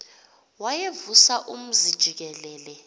wayevusa umzi jikelele